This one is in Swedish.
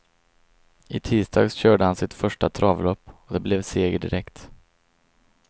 I tisdags körde han sitt första travlopp, och det blev seger direkt.